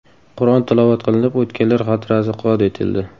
Qur’on tilovat qilinib o‘tganlar xotirasi yod etildi.